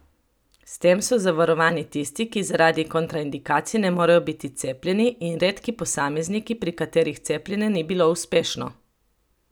S tem so zavarovani tisti, ki zaradi kontraindikacij ne morejo biti cepljeni, in redki posamezniki, pri katerih cepljenje ni bilo uspešno.